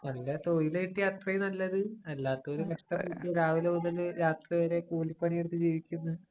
നല്ല തൊയില് കിട്ടിയാ അത്രേം നല്ലത്. അല്ലാത്തവര് കഷ്ടപ്പെട്ട് രാവിലെ മുതല്‍ രാത്രി വരെ കൂലിപ്പണി എടുത്തു ജീവിക്കുന്നു.